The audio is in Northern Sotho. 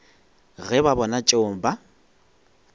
ge ba bona tšeo ba